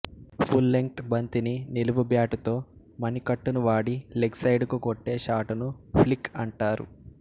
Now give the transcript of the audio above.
full length బంతిని నిలువుబ్యాటుతో మణికట్టును వాడి లెగ్ సైడుకు కొట్టే షాటును ఫ్లిక్ అంటారు